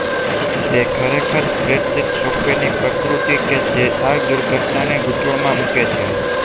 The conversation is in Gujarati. તે ખરેખર સ્પ્રેડશીટ સોફ્ટવેરની પ્રકૃતિ છે જે આ દુર્ઘટનાને ગૂંચવણમાં મૂકે છે